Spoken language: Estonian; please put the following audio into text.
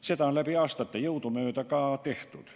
Seda on aastate jooksul jõudumööda ka tehtud.